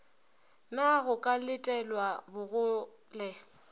na go ka letelwa bogole